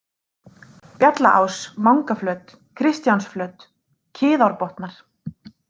Bjallaás, Mangaflöt, Kristjánsflöt, Kiðárbotnar